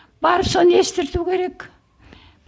барып соны естірту керек